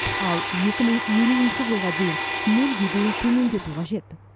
ал екі мың елуінші жылға дейін нөлге дейін төмендету қажет